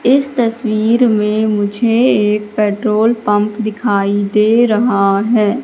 इस तस्वीर में मुझे एक पेट्रोल पंप दिखाई दे रहा है।